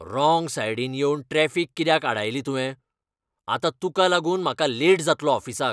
Wrong सायडीन येवन traffic कित्याक आडायली तुवें? आतां तुका लागून म्हाका लेट जातलो ऑफिसाक.